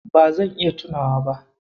Ba zan iya tunawa ba.